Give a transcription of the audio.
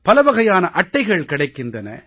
பலவகையான அட்டைகள் கிடைக்கின்றன